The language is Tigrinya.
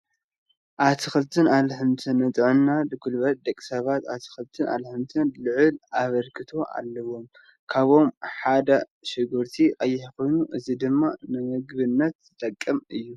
ኣትክልትን ኣሕምልትን፡- ንጥዕናን ጉልበትን ደቂ ሰባት ኣትክልትን ኣሕምልትን ልዕል ኣበርክቶ ኣለዎም፡፡ ካብኣቶም ሓደ ሽጉርቲ ቀይሕ ኮይኑ እዚ ድማ ንምግብነት ዝጠቅም እዩ፡፡